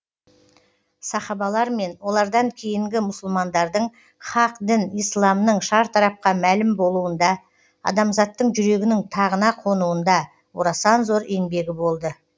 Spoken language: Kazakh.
сахабалар мен олардан кейінгі мұсылмандардың хақ дін исламның шартарапқа мәлім болуында адамзаттың жүрегінің тағына қонуында орасан зор еңбегі болды